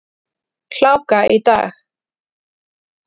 Hláka í dag.